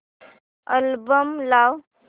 album लाव